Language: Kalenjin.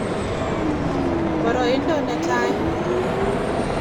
boroindo netai